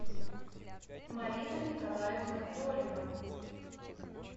марина николаевна долева